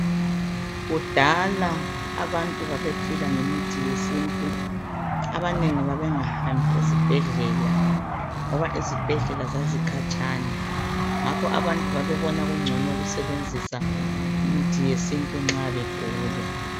Kudala abantu babephila ngemithi yesintu abanengi babengahambi ezibhedlela ngoba izibhedlela zazikhatshana ngakho abantu babebona kungcono ukusebenzisa imithi yesintu nxa begula.